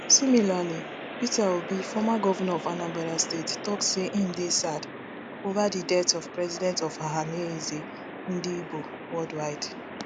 similarly peter obi former governor of anambra state tok say im dey sad ova di death of president of ohanaeze ndigbo worldwide